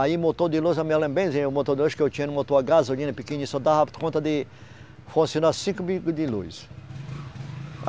Aí o motor de luz, a minha, o motor de luz que eu tinha era um motor à gasolina pequenininho, só dava conta de funcionar cinco bico de luz.